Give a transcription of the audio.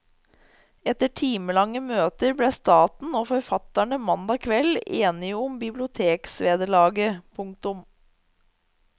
Etter timelange møter ble staten og forfatterne mandag kveld enige om biblioteksvederlaget. punktum